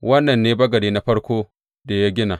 Wannan ne bagade na farkon da ya gina.